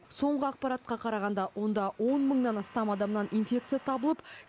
соңғы ақпаратқа қарағанда онда он мыңнан астам адамнан инфекция табылып